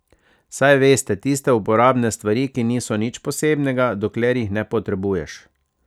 Saj veste, tiste uporabne stvari, ki niso nič posebnega, dokler jih ne potrebuješ.